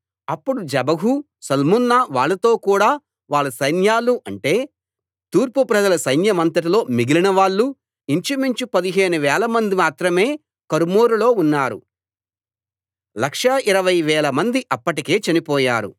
అప్పుడు జెబహు సల్మున్నా వాళ్ళతో కూడా వాళ్ళ సైన్యాలు అంటే తూర్పు ప్రజల సైన్యమంతటిలో మిగిలినవాళ్ళు ఇంచుమించు పదిహేను వేలమంది మాత్రమే కర్కోరులో ఉన్నారు లక్షా ఇరవైవేలమంది అప్పటికే చనిపోయారు